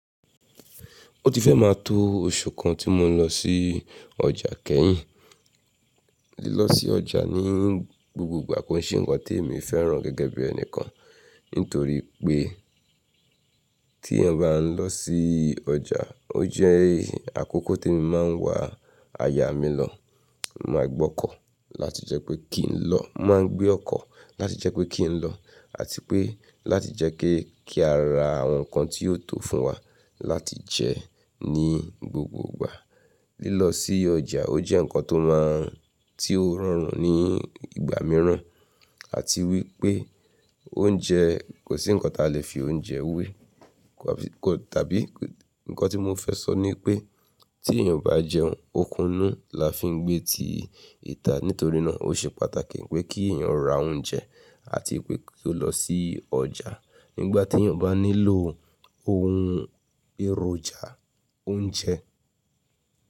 Ó ti fẹ́ máa to oṣù kan tí mo ń lọ sí ọjà kẹ́yìn. Lílọ sí ọjà ní gbogbogbà kò ṣe ǹkan tí èmi fẹ́ràn gẹ́gẹ́ bí ẹni kan. Nítorí pé tí ẹ̀yàn bá lọ sí ọjà, o je akọ́kọ́ tí mi máa ń wá aya mi lọ máa gbọ́kọ̀ láti jẹ́ pé kí n lọ. Máa ń gbé ọ̀kọ̀ láti jẹ́ pé kí n lọ àti pé láti jẹ́ kí a ra àwọn nǹkan tí yóò tó fún wa láti jẹ ní gbogbogbà. Lílọ sí ọjà ó jẹ́ ǹkan tó máa ń tí ó rọrùn ní ìgbà mìíràn. Àti wípé oúnjẹ kò sí ǹkan tí a lè fi oúnjẹ wé. Tàbí ǹkan tí mo fẹ́ sọ ni pé tí èyàn o bá jẹun, okunú la fi ń gbé ti ìta nítorí náà ó ṣe pàtàkì pé kí èyàn ra oúnjẹ àti pé kó lọ sí ọjà nígbà tí èeyàn bá nílò ohun èròjà oúnjẹ.